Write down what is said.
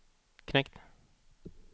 knekt